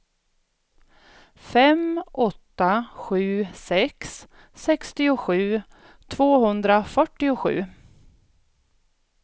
fem åtta sju sex sextiosju tvåhundrafyrtiosju